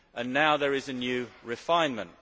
Now there is a new refinement.